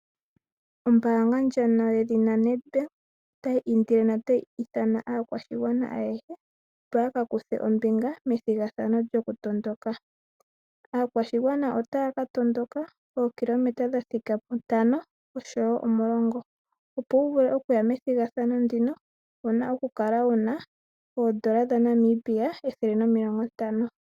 Ombaanga ndjono yedhina NEDBANK, otayi indile notayi ithana aakwashigwana ayehe, opo ya ka kuthe ombinga methigathano lyokutondoka. Aakwashigwana otaya ka tondoka ookilometa dha thika puntano osho wo omulungo. Opo wu vule okuya methigathano ndino, uuna okukala una oondola dhaNamibia ethele nomilongo ntano.